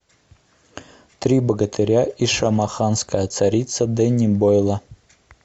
три богатыря и шамаханская царица дэнни бойла